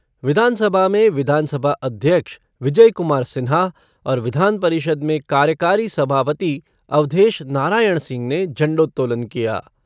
विधानसभा में विधानसभा अध्यक्ष विजय कुमार सिन्हा और विधानपरिषद में कार्यकारी सभापति अवधेश नारायण सिंह ने झंडोत्तोलन किया।